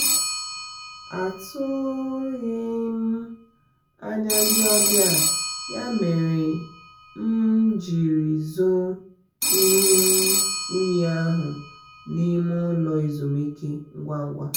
atughi m anya ndị ọbịa ya mere m m jiri zoo ihe unyi ahụ na ime ụlọ ezumike ngwa ngwa